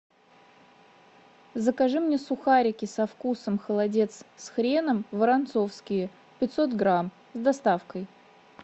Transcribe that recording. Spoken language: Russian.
закажи мне сухарики со вкусом холодец с хреном воронцовские пятьсот грамм с доставкой